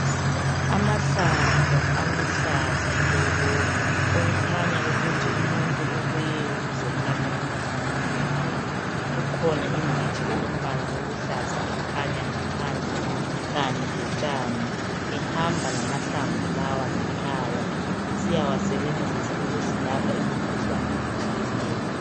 Amahlamvu aluhlaza tshoko, okukhanya ukuthi umuntu ubuye ukuzothatha amahlamvu lawa. Kukhona iditshi elombala oluhlaza ekhanya ngaphansi, kanye lotshane, ehamba lamahlamvu lawa ngekhaya esiyasebenzisa okuzilapha imikhuhlane etshiyeneyo.